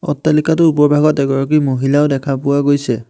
অট্টালিকাটোৰ ওপৰভাগত এগৰাকী মহিলাও দেখা পোৱা গৈছে।